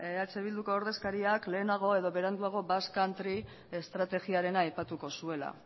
eh bilduko ordezkariak lehenago edo beranduago basque country estrategiarena aipatuko zuela